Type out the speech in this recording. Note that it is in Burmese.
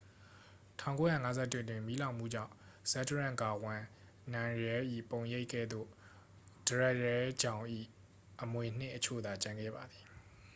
1951 တွင် မီးလောင်မှုကြောင့် ဇက်ဒရန့် ဂါဝန်း နမ်ရဲလ်၏ ပုံရိပ်ကဲ့သို့ ဒရက်ရဲလ်ဂျောင်၏ အမွေအနှစ်အချို့သာ ကျန်ခဲ့ပါသည်